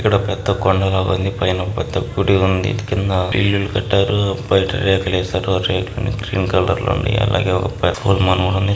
ఇక్కడ పెద్ద కోండల వంగిపోయిన పెద్ద గుడి ఉంది కింద ఇల్లులు కట్టారు. బైట రేకులేశారు ఆ రేకులు గ్రీన్ కలర్ లో లోని అదేవిధంగా ఒక --